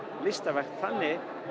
listaverk þannig